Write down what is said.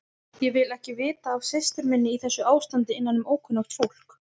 Ég vil ekki vita af systur minni í þessu ástandi innanum ókunnugt fólk.